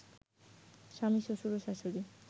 স্বামী, শ্বশুর ও শাশুড়ি